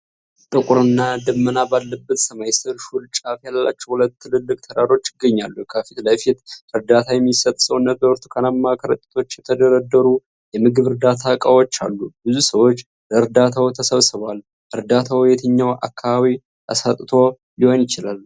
ጥቁርና ነመና ባለበት ሰማይ ስር፣ ሹል ጫፍ ያላቸው ሁለት ትልልቅ ተራሮች ይገኛሉ። ከፊት ለፊት እርዳታ የሚሰጥ ሰውነት በብርቱካናማ ከረጢቶች የተደረደሩ የምግብ እርዳታ ዕቃዎች አሉ። ብዙ ሰዎች ለእርዳታው ተሰብስበዋል። እርዳታው የትኛው አካባቢ ተሰጥቶ ሊሆን ይችላል?